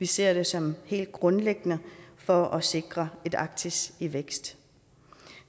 ser vi som helt grundlæggende for at sikre et arktis i vækst